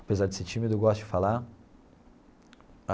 Apesar de ser tímido, eu gosto de falar.